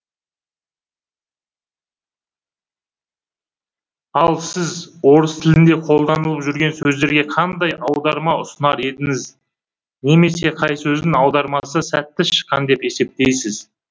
ал сіз орыс тілінде қолданылып жүрген сөздерге қандай аударма ұсынар едіңіз немесе қай сөздің аудармасы сәтті шыққан деп есептейсіз